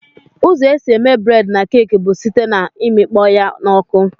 Ụzọ esi eme bred na cake bu site na imikpọya na ọkụ.